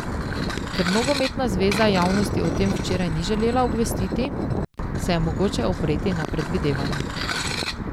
Ker nogometna zveza javnosti o tem včeraj ni želela obvestiti, se je mogoče opreti na predvidevanja.